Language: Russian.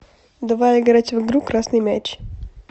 давай играть в игру красный мяч